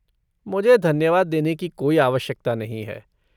मुझे धन्यवाद देने की कोई आवश्यकता नहीं है।